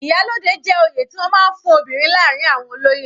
Iyalode jẹ́ oyè tí wọ́n máa ń fún obìnrin láàrin àwọn olóyè.